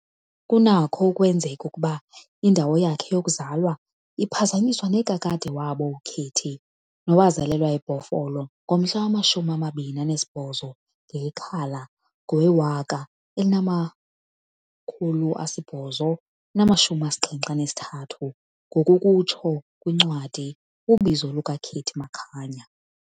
Kunakho ukwenzeka ukuba indawo yakhe yokuzalwa iphazanyiswa nekadade wabo uKatie, nowazalelwa eBhofolo ngomhla wamashumi amabini anesibhozo ngeyeKhala ngowe-1873., ngokukutsho kwincwadi "Ubizo lukaKatie Makanya".